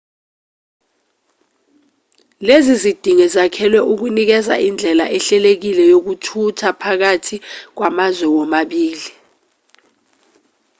lezi zidingo zakhelwe ukunikeza indlela ehlelekile yokuthutha phakathi kwamazwe womabili